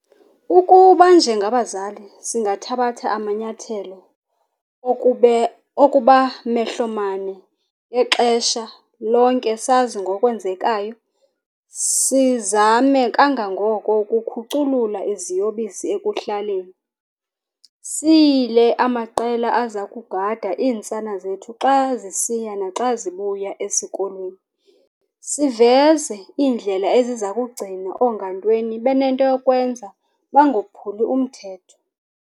Ukuba njengabazali singathabatha amanyathelo okuba mehlomane ngexesha lonke sazi ngokwenzekayo, sizame kangangoko ukukhuculula iziyobisi ekuhlaleni. Siyile amaqela aza kugada iintsana zethu xa zisiya naxa zibuya esikolweni. Siveze iindlela eziza kugcina oongantweni benento yokwenza bangophuli umthetho.